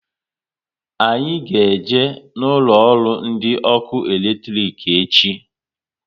Anyị ga eje na ụlọ ọrụ ndị ọkụ eletrik echi